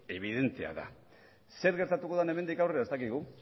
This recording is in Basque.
ebidentea da zer gertatuko den hemendik aurrera ez dakigu